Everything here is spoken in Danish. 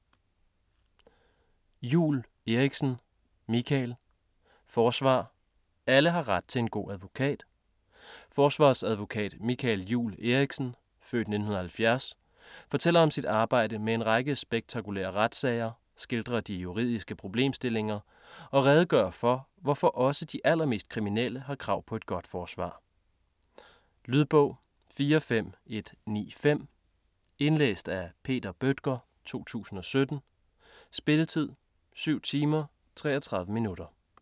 Juul Eriksen, Michael: Forsvar: alle har ret til en god advokat Forsvarsadvokat Michael Juul Eriksen (f. 1970) fortæller om sit arbejde med en række spektakulære retssager, skildrer de juridiske problemstillinger og redegør for, hvorfor også de allermest kriminelle har krav på et godt forsvar. Lydbog 45195 Indlæst af Peter Bøttger, 2017. Spilletid: 7 timer, 33 minutter.